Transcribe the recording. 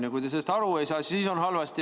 Ja kui te sellest aru ei saa, siis on halvasti.